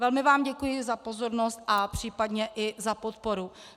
Velmi vám děkuji za pozornost a případně i za podporu.